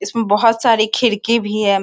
इसमें बहुत सारी खिड़की भी है।